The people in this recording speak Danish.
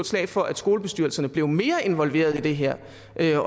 slag for at skolebestyrelserne blev mere involveret i det her